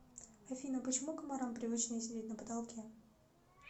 афина почему комарам привычнее сидеть на потолке